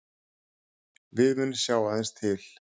Við munum sjá aðeins til